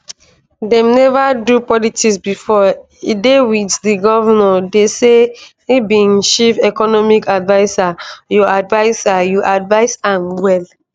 dem neva do politics bifor e dey wit di govnor dey say e be im chief economic adviser you adviser you advise am well